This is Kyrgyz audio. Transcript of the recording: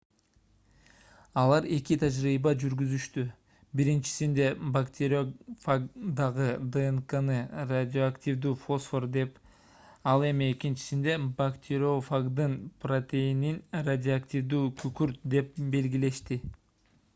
алар эки тажрыйба жүргүзүштү биринчисинде бактериофагдагы днкны радиоактивдүү фосфор деп ал эми экинчисинде бактериофагдын протеинин радиоактивдүү күкүрт деп белгилешти